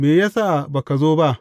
Me ya sa ba ka zo ba?